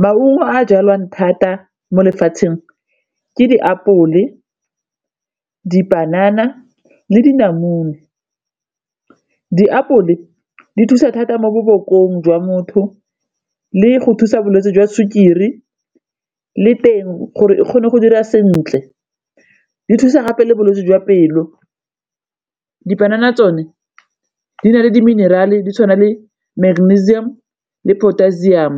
Maungo a jalwang thata mo lefatsheng ke diapole, dipanana le dinamune. Diapole di thusa thata mo bo bokong jwa motho le go thusa bolwetse jwa sukiri le teng gore e kgone go dira sentle di thusa gape le bolwetse jwa pelo. Dipanana tsone di na le diminerale di tshwana le magnasium le potassium,